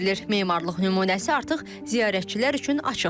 Memarlıq nümunəsi artıq ziyarətçilər üçün açıqdır.